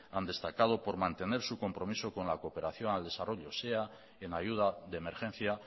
han destacado por mantener su compromiso con la cooperación al desarrollo sean en ayuda de emergencia